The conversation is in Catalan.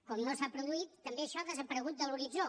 com no s’ha produït també això ha desaparegut de l’horitzó